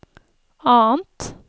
annet